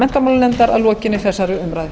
menntamálanefndar að lokinni þessari umræðu